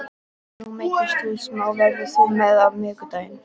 Nú meiddist þú smá, verður þú með á miðvikudag?